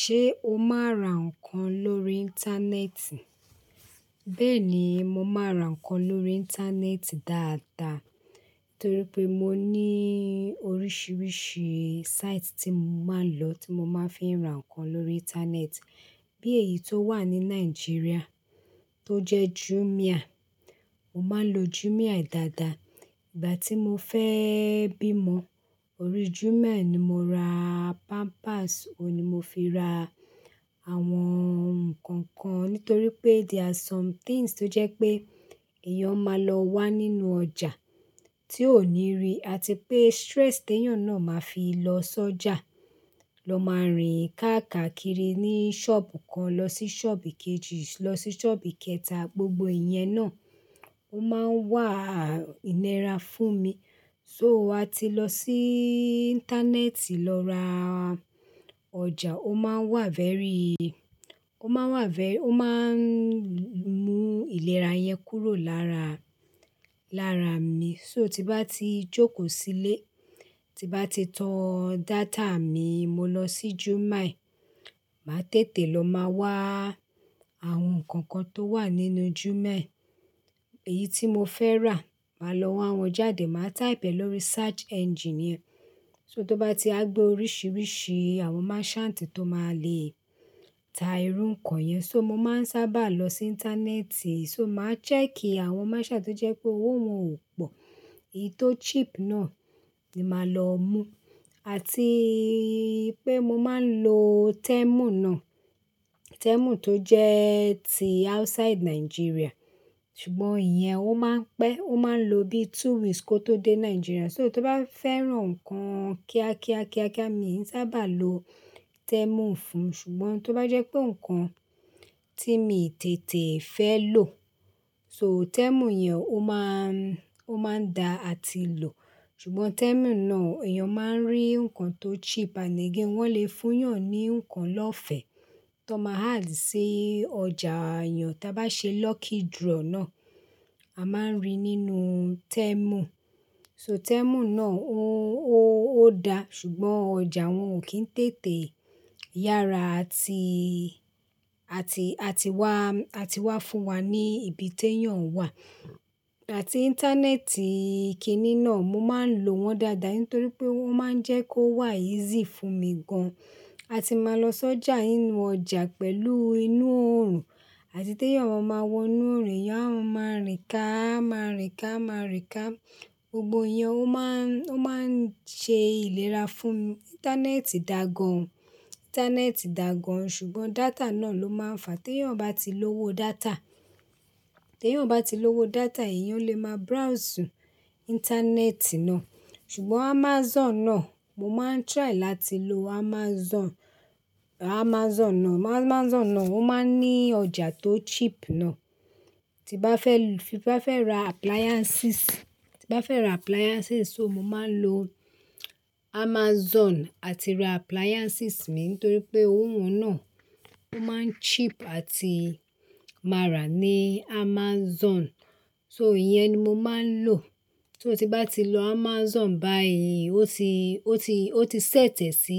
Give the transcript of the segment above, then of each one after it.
Ṣé o máa ra nǹkan lórí íńtánẹ́ẹ̀tì? Bẹ́ẹ̀ni, mo máa ra nǹkan lórí íńtánẹ́ẹ̀tì dáadáa torí pé mo ní oríṣiríṣi site tí mo máa ń lọ tí mo máa ń fi ra nǹkan lórí íńtánẹ́ẹ̀tì. Bí èyí tó wà ní Nàìjíríà tó jẹ́ Jumia. Mo máa ń lo Jumia dáadáa. Ìgbà tí mo fẹ́ bímọ, orí Jumia ni mo ra pampers, òun ni mo fi ra àwọn nǹkan kan. Nítorí pé there are some things tó jẹ́ pé èèyàn máa lọ wá nínú ọjà tí ó ní rí àti pé stress tí èèyàn náà máa fi lọ sọ́jà, lọ máa rìn káàkiri ní ṣọ́ọ̀bù kan, lọ sí ṣọ́ọ̀bù kejì, lọ sí ṣọ́ọ̀bù kẹta. Gbogbo iyẹn náà ó máa ń wà ìnira fún mi. So, a ti lọ sí íńtánẹ́ẹ̀tì lọ ra ọjà, ó máa wà very, ó máa wà very, ó máa ń mú ìlera yẹn kúrò lára, lára mi. So, tí bá ti jókòó sílé, tí bá ti tan data mi, mo lọ sí Jumia. Màá tètè lọ máa wá àwọn nǹkan kan tó wà nínú Jumia. Èyí tí mo fẹ́ rà, màá lọ wá wọn jáde. Màá type ẹ́ lórí search engine. So, tó bá ti gbé oríṣiríṣi àwọn merchant tó máa le ta irú nǹkan yẹn. So, mo máa ń sábà lọ sí íńtánẹ́ẹ̀tì, so màá check àwọn merchant tó jẹ́ pé owó wọn ò pọ̀. Èyí tó cheap náà ni màá lọ mú. Àti pé mo máa ń lo Temu náà. Temu tó jẹ́ ti outside Nigeria. Ṣùgbọ́n iyẹn ó máa ń pẹ́, ó máa ń lo bí two weeks kó tó dé Nàìjíríà. So, tó bá fẹ́ran nǹkan kíákíá, kíákíá, mi ò sábà lo Temu fún. Ṣùgbọ́n tó bá jẹ́ pé nǹkan tí mi tètè fẹ́ lò, so Temu yẹn ó máa ń, ó máa ń da àti lò. Ṣùgbọ́n Temu náà, èèyàn máa ń rí nǹkan tó cheap. Ànd again, wọ́n lè fún yàn ní nǹkan lọ́fẹ̀ẹ́ tó máa ń add sí ọjà èèyàn tí a bá ṣe lucky draw náà, a máa ń rí nínú Temu. So, Temu náà ó, ó, ó da ṣùgbọ́n ọjà wọn ò kí ń tètè yára àti, àti, àti wá, àti wá fún wa ní ibi tí èèyàn wà. Àti íńtánẹ́ẹ̀tì kiní náà, mo máa ń lo wọn dáadáa nítorí pé wọ́n máa ń jẹ́ kó wà easy fún mi gan. A ti máa lọ sọ́jà inú ọjà pẹ̀lú inú òòrùn àti tí èèyàn máa wọ inú òòrùn, èèyàn máa rìn ká, máa rìn ká, máa rìn ká. Gbogbo iyẹn ó máa ń, ó máa ń ṣe ìlera fún mi. Íńtánẹ́ẹ̀tì dá gan. Íńtánẹ́ẹ̀tì dá gan ṣùgbọ́n data náà ló máa ń fa. Tí èèyàn bá ti lówó data, tí èèyàn bá ti lówó data, èèyàn lè máa browse íńtánẹ́ẹ̀tì náà. Ṣùgbọ́n Amazon náà, mo máa ń try láti lo Amazon. Amazon náà, Amazon náà ó máa ń ní ọjà tó cheap náà. Tí bá fẹ́ lu-- tí bá fẹ́ ra appliances, tí bá fẹ́ ra appliances, so mo máa ń lo Amazon àti ra appliances mi nítorí pé owó wọn náà ó máa ń cheap àti máa rà ní Amazon. So, ìyẹn ni mo máa ń lò. Só tí bá ti lọ Amazon báyìí, ó ti, ó ti, ó ti sẹ́tẹ̀ sí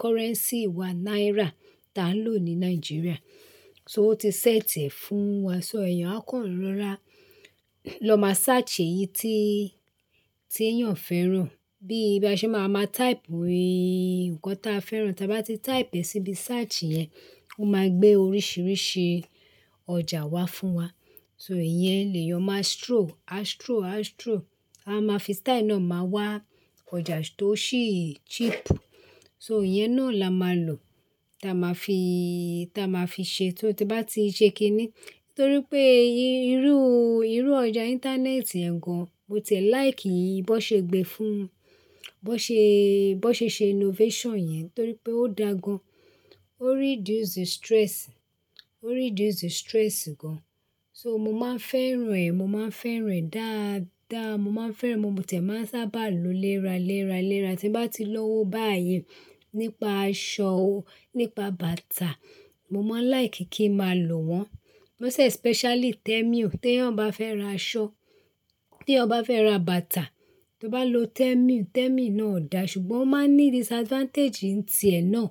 currency wa náírà tí à ń lò ní Nàìjíríà. So, ó ti sẹ́tẹ̀ fún wa. So, èèyàn á kàn rọra lọ máa search èyí tí, tí èèyàn fẹ́ rà. Bí bá ṣe máa ma type ìkàn tí a fẹ́ rà. Tí a bá ti type ẹ́ síbi search yẹn, ó máa gbé oríṣiríṣi ọjà wá fún wa. So, ìyẹn lè yan máa stroll, a stroll, a stroll. A máa fi style náà máa wá ọjà tó ṣì cheap. So, ìyẹn náà la máa lò. Tí a máa fi, tí a máa fi ṣe. So, tí bá ti ṣe kiní. Nítorí pé irú, irú ọjà íńtánẹ́ẹ̀tì ẹ̀ gan. Mo tiẹ̀ like ìí bó ṣe gbe fún, bó ṣe, bó ṣe ṣe innovation yẹn nítorí pé ó dá gan. Ó reduce the stress, ó reduce the stress gan. So, mo máa ń fẹ́ràn ẹ̀, mo máa ń fẹ́ràn ẹ̀ dáadáa. Mo máa ń fẹ́ràn, mo tiẹ̀ máa ń sábà lo léra, léra, léra. Tí n bá ti lówó báyìí nípa aṣọ o, nípa bàtà, mo máa like kí ma lò wọ́n. Most especially Temu. Tí èèyàn bá fẹ́ ra aṣọ, tí èèyàn bá fẹ́ ra bàtà, tí ó bá lo Temu, Temu náà ó da ṣùgbọ́n ó máa ní disadvantage ǹ ti ẹ̀ náà.